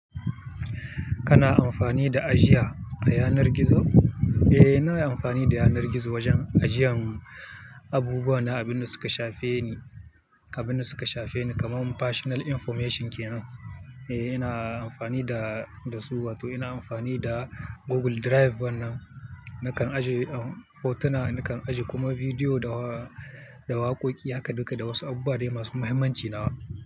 Kana amfani da ajiya a yanar gizo? Eh, ina yi amfani da yanar gizo wajen ajiyan. Abubuwa na abin da suka shafe ni, abin da suka shafe ni kaman personal information kenan. Eh ina amfani da, da su wato ina amfani da. Google Drive wannan nakan ajiye hotuna, nakan ajiye kuma bidiyo da wa, da waƙoƙi haka duka da wasu abubuwa dai masu muhimmanci nawa.